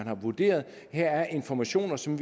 har vurderet at der er informationer som